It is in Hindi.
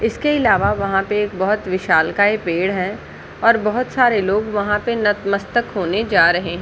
इसके अलावा वहाँ पे एक बहुत विशालकाय पेड़ है और बहुत लोग वहाँ पे नतमश्तक होने जा रहे हैं।